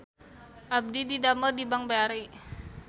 Abdi didamel di Bank BRI